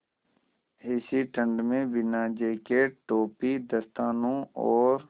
ऐसी ठण्ड में बिना जेकेट टोपी दस्तानों और